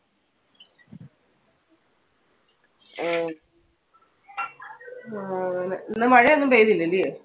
ആ അങ്ങനെ. ഇന്ന് മഴ ഒന്നും പെയ്തില്ലലെയോ?